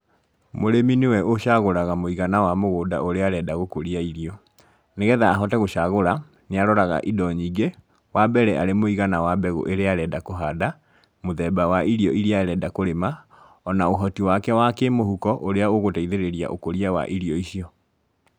Mũrĩmi nĩwe ũcagũraga mũigana wa mũgũnda ũria arenda gũkũrĩa irio nĩgetha ahote gũcagũra nĩaroraga indo nyingĩ, wambere arĩ mũigana wa mbegũ ĩrĩa arenda kũhanda, mũthemba wa irio iria arenda kũrĩma ona ũhoti wake wa kĩmũhuko ũrĩa ũgũteithĩrĩria ũkũria wa irio icio.